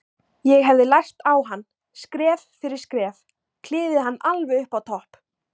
Ég hefði lært á hann, skref fyrir skref, klifið hann alveg upp á topp.